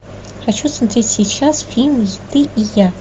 хочу смотреть сейчас фильм ты и я